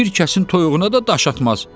bir kəsin toyuğuna da daş atmaz.